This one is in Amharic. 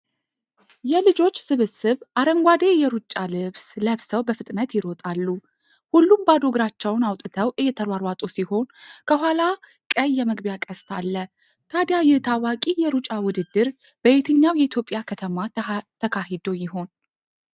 የልጆች ስብስብ፣ አረንጓዴ የሩጫ ልብስ ለብሰው በፍጥነት ይሮጣሉ። ሁሉም ባዶ እግራቸውን አውጥተው እየተሯሯጡ ሲሆን፣ ከኋላ ቀይ የመግቢያ ቅስት አለ። ታዲያ ይህ ታዋቂ የሩጫ ውድድር በየትኛው የኢትዮጵያ ከተማ ተካሂዶ ይሆን?